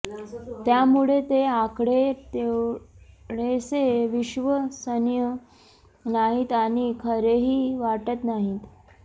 त्यामुळे ते आकडे तेवढेसे विश्वसनीय नाहीत आणि खरेही वाटत नाहीत